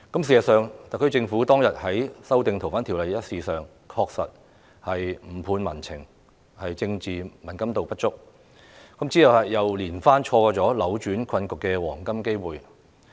事實上，特區政府當日處理《2019年逃犯及刑事事宜相互法律協助法例條例草案》，確實有誤判民情，政治敏感度不足，之後又連番錯過扭轉困局的黃金機會。